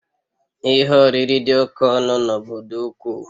Ihe oriri dị oke ọnụ n'obodo ukwu